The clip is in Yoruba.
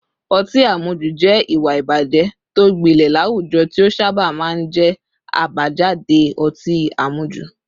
Ọtí àmujù jẹ́ ìwà ìbàjẹ́ tó gbilẹ̀ láwùjọ tí ó sábà máa ń jẹ́ àbájáde ọtí àmujù